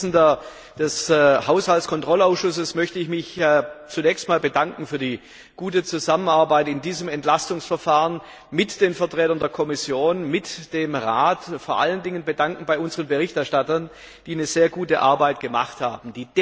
Als Vorsitzender des Haushaltskontrollausschusses möchte ich mich zunächst einmal bedanken für die gute Zusammenarbeit in diesem Entlastungsverfahren mit den Vertretern der Kommission und mit dem Rat, und ich möchte mich vor allen Dingen bedanken bei unseren Berichterstattern, die eine sehr gute Arbeit gemacht haben.